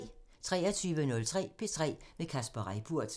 23:03: P3 med Kasper Reippurt